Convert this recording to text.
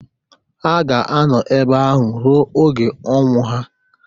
Ha ga-anọ ebe ahụ ruo oge onwụ ha.